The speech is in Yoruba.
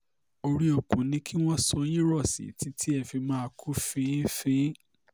orí òkun ni kí wọ́n so yín rọ̀ sí títí tẹ́ ẹ fi máa kú fin-ín fin-ín